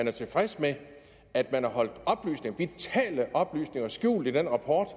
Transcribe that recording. er tilfredse med at man har holdt vitale oplysninger skjult i den rapport